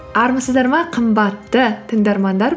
армысыздар ма қымбатты тыңдармандар